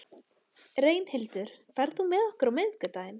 Reynhildur, ferð þú með okkur á miðvikudaginn?